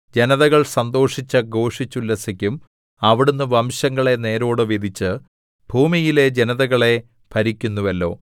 ജനതകൾ സന്തോഷിച്ച് ഘോഷിച്ചുല്ലസിക്കും അവിടുന്ന് വംശങ്ങളെ നേരോടെ വിധിച്ച് ഭൂമിയിലെ ജനതകളെ ഭരിക്കുന്നുവല്ലോ സേലാ